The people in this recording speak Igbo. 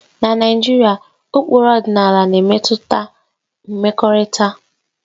Na Naijiria, ụkpụrụ ọdịnala na-emetụta mmekọrịta